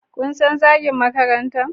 Kun san Zagin Makaranta?